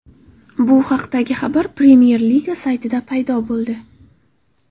Bu haqdagi xabar Premyer-Liga saytida paydo bo‘ldi.